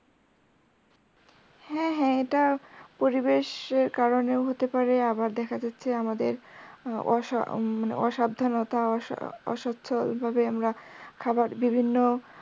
হ্যাঁ হ্যাঁ এটা পরিবেশের কারনে হতে পারে আবার দেখা যাচ্ছে আমাদের অসাব~অসাবধানতার অসচ্ছ ভাবে আমরা খাবার বিভিন্ন